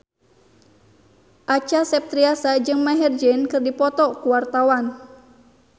Acha Septriasa jeung Maher Zein keur dipoto ku wartawan